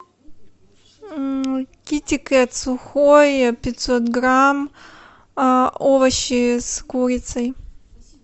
китикет сухой пятьсот грамм овощи с курицей